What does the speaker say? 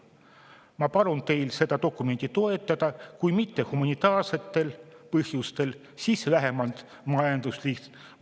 Ma palun teil seda dokumenti toetada, kui mitte põhjustel, siis vähemalt majanduse huvides.